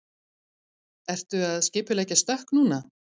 Ertu að skipuleggja stökk núna?